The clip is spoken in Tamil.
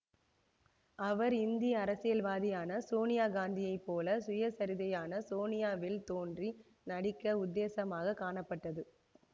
அவர் இந்திய அரசியல்வாதியான சோனியா காந்தியை போல சுயசரிதையான சோனியா வில் தோன்றி நடிக்க உத்தேசமாக காணப்பட்டது